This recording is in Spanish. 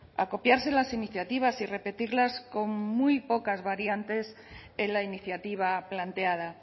a copiarse las iniciativas y repetirlas con muy pocas variantes en la iniciativa planteada